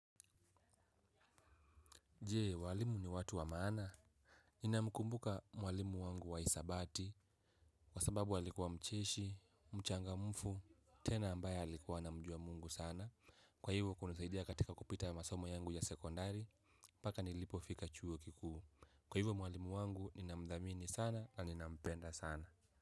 Jee, walimu ni watu wa maana? Nina mkumbuka mwalimu wangu wa hisabati, kwa sababu alikuwa mcheshi, mchangamfu, tena ambaye alikuwa anamjua Mungu sana. Kwa hivo kunisaidia katika kupita masomo yangu ya sekondari mpaka nilipofika chuo kikuu. Kwa hivyo mwalimu wangu ninamdhamini sana na ninampenda sana.